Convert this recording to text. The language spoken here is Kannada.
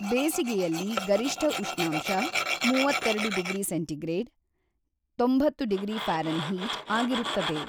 ಬೇಸಿಗೆಯಲ್ಲಿ ಗರಿಷ್ಠ ಉಷ್ಣಾಂಶ ಮೂವತ್ತೆರಡು ಡಿಗ್ರಿ ಸೆಂಟಿ ಗ್ರೇಡ್ (ತೊಂಬತ್ತು ಡಿಗ್ರಿ ಪ್ಯಾರನ್ ಹೀಟ್) ಆಗಿರುತ್ತದೆ.